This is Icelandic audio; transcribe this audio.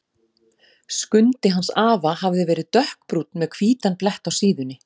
Skundi hans afa hafði verið dökkbrúnn með hvítan blett á síðunni.